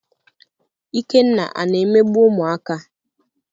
Ikenna ana emegbu ụmụaka?